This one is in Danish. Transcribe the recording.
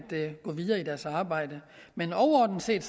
gå videre i deres arbejde men overordnet set